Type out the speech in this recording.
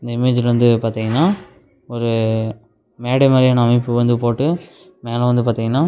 இந்த இமேஜ்ல வந்து பாத்தீங்கன்னா ஒரு மேடை மாறியான அமைப்பு வந்து போட்டு மேல வந்து பாத்தீங்கன்னா --